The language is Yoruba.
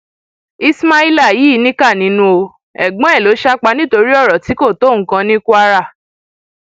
ismaila yìí níkà nínú o ẹgbọn ẹ ló sá pa nítorí ọrọ tí kò tó nǹkan ní kwara